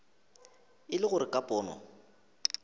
e le gore ka pono